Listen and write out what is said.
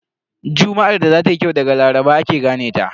Juma'ar da za tayi kyau daga Laraba ake gane ta.